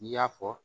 I y'a fɔ